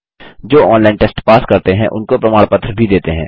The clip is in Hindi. जो ऑनलाइन टेस्ट पास करते हैं उनको प्रमाण पत्र भी देते हैं